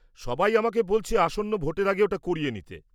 সবাই আমাকে বলেছে আসন্ন ভোটের আগে ওটা করিয়ে নিতে।